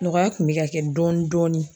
Nɔgɔya kun bɛ ka kɛ dɔɔni dɔɔni.